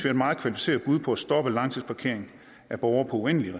et meget kvalificeret bud på at stoppe langtidsparkering af borgere på uendelige